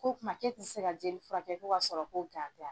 Ko kuma k'e ti se ka jeli furakɛ ko k'a sɔrɔ ko tɛ ya?